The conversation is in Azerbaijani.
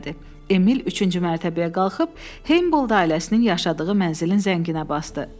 Emil üçüncü mərtəbəyə qalxıb Heybold ailəsinin yaşadığı mənzilin zənginə basdı.